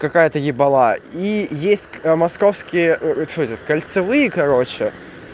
какая-то ебала и есть московские кольцевые короче